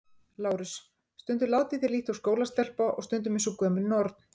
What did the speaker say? LÁRUS: Stundum látið þér líkt og skólastelpa og stundum eins og gömul norn.